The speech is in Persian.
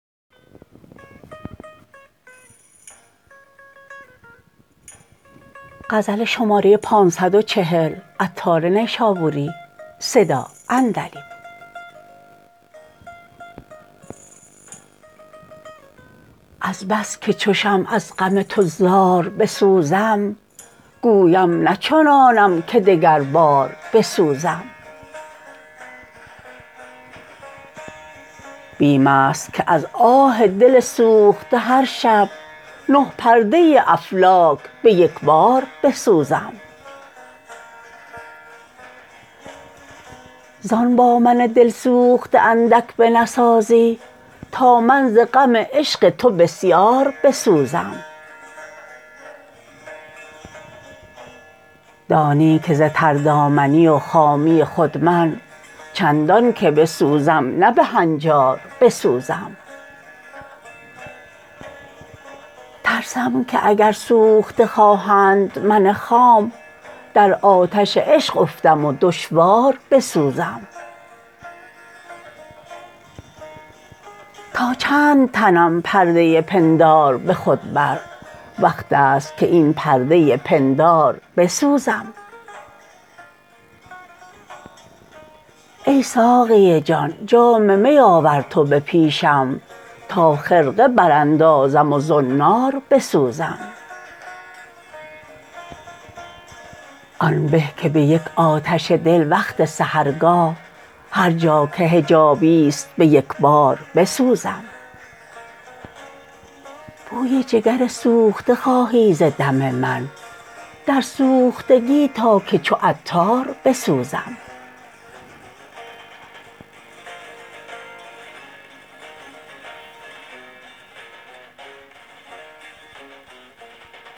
از بس که چو شمع از غم تو زار بسوزم گویم نچنانم که دگربار بسوزم بیم است که از آه دل سوخته هر شب نه پرده افلاک به یکبار بسوزم زان با من دلسوخته اندک به نسازی تا من ز غم عشق تو بسیار بسوزم دانی که ز تر دامنی و خامی خود من چندان که بسوزم نه به هنجار بسوزم ترسم که اگر سوخته خواهند من خام در آتش عشق افتم و دشوار بسوزم تا چند تنم پرده پندار به خود بر وقت است که این پرده پندار بسوزم ای ساقی جان جام می آور تو به پیشم تا خرقه براندزم و زنار بسوزم آن به که به یک آتش دل وقت سحرگاه هرجا که حجابی است به یکبار بسوزم بوی جگر سوخته خواهی ز دم من در سوختگی تا که چو عطار بسوزم